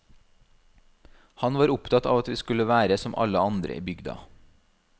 Han var opptatt av at vi skulle være som alle andre i bygda.